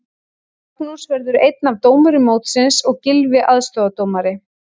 Magnús verður einn af dómurum mótsins og Gylfi aðstoðardómari.